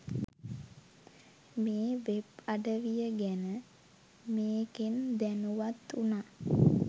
මේ වෙබ් අඩවිය ගැන මේකෙන් දැනුවත් උනා.